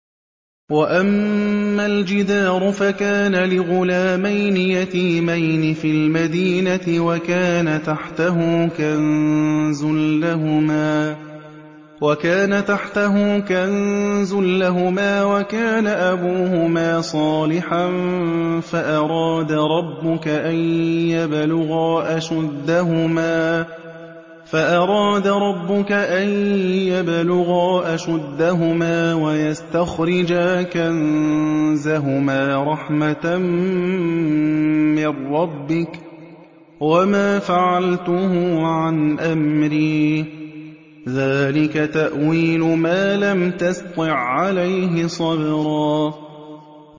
وَأَمَّا الْجِدَارُ فَكَانَ لِغُلَامَيْنِ يَتِيمَيْنِ فِي الْمَدِينَةِ وَكَانَ تَحْتَهُ كَنزٌ لَّهُمَا وَكَانَ أَبُوهُمَا صَالِحًا فَأَرَادَ رَبُّكَ أَن يَبْلُغَا أَشُدَّهُمَا وَيَسْتَخْرِجَا كَنزَهُمَا رَحْمَةً مِّن رَّبِّكَ ۚ وَمَا فَعَلْتُهُ عَنْ أَمْرِي ۚ ذَٰلِكَ تَأْوِيلُ مَا لَمْ تَسْطِع عَّلَيْهِ صَبْرًا